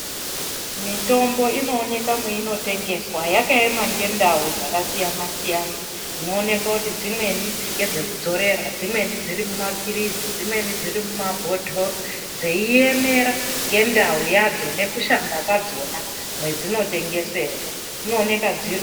Mitombo inooneka mweinotengeswa yakaema ngendau dzakasiyana siyana, dzinooneka kuti dzimweni ndedzekudzorera, dzimweni dzirimumapirizi, dzimweni mumabhotoro dzeiemera ngendau yadzo nekushanda kwadzo mwedzino tengeserwa. Dzinooneka dzirimu........